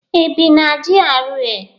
Ị bi na GRA?